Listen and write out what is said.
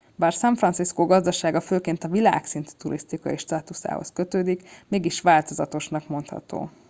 bár san fracisco gazdasága főként a világszintű turisztikai státuszához kötődik mégis változatosnak mondható